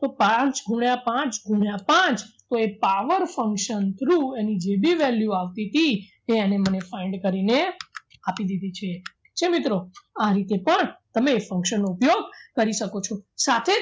તો પાંચ ગુણ્યા પાંચ ગુણ્યા પાંચ કોઈ power function through એની જે ભી value આવતી તી તે એને મને find કરીને આપી દીધી છે ઠીક છે મિત્રો આ રીતે પણ તમે function નો ઉપયોગ કરી શકો છો સાથે